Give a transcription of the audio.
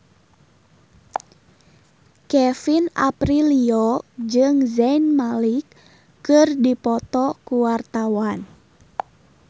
Kevin Aprilio jeung Zayn Malik keur dipoto ku wartawan